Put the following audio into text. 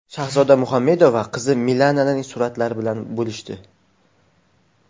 Shahzoda Muhammedova qizi Milananing suratlari bilan bo‘lishdi.